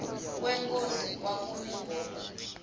kwenkosi kwakumi ngoku